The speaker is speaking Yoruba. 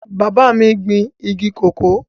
Bàbá mi gbin igi kòkó